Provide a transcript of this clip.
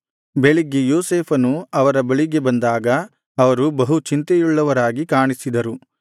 ಬೆಳಿಗ್ಗೆ ಯೋಸೇಫನು ಅವರ ಬಳಿಗೆ ಬಂದಾಗ ಅವರು ಬಹು ಚಿಂತೆಯುಳ್ಳವರಾಗಿ ಕಾಣಿಸಿದರು